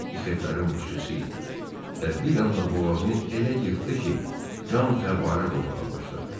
Bu ixetlərin başçısı idi və bir anda boğazını elə yırtdı ki, qan fəvvarə vurmağa başladı.